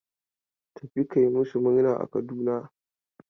Tafi ka yi masu murna a Kaduna!.